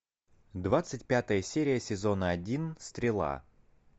двадцать пятая серия сезона один стрела